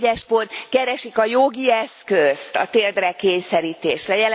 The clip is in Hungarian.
pont keresik a jogi eszközt a térdre kényszerítésre.